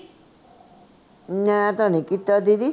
ਮੈਂ ਤਾਂ ਨੀ ਕੀਤਾ ਦੀਦੀ